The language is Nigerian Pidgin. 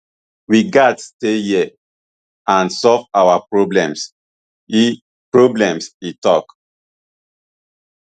we gatz stay here and solve our problems e problems e tok